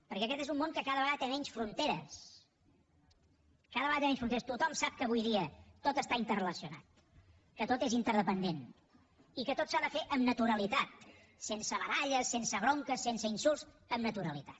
perquè aquest és un món que cada vegada té menys fronteres cada vegada té menys fronteres tothom sap que avui dia tot està interrelacionat que tot és interdependent i que tot s’ha de fer amb naturalitat sense baralles sense bronques sense insults amb naturalitat